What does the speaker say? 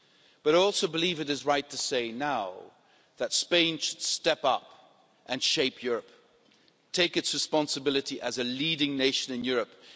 But I also believe it is right to say now that Spain should step up and shape Europe. It should take its responsibility as a leading nation in Europe.